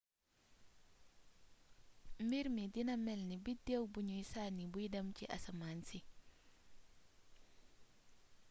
mbirmi dina mélni biddéw bugnu sanni buy dém ci asamaansi